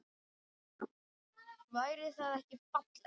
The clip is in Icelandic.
Væri það ekki fallegt?